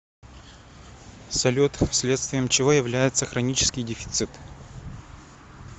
салют следствием чего является хронический дефицит